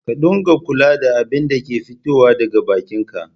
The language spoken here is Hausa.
Ka dunga kula da abinda ke fitowa daga bakin ka